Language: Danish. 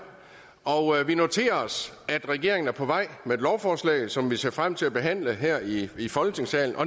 og vi noterer os at regeringen er på vej med et lovforslag som vi ser frem til at behandle her i i folketingssalen